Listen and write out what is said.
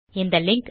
இந்த லிங்க்